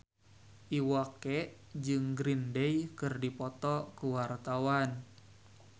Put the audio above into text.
Iwa K jeung Green Day keur dipoto ku wartawan